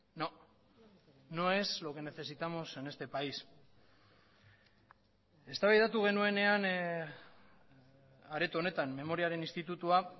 no no es lo que necesitamos en este país eztabaidatu genuenean areto honetan memoriaren institutua